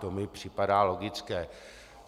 To mi připadá logické.